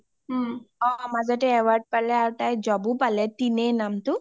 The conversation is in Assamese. অ মাজতে award pale আৰু job ও পালে , তিনে নামটো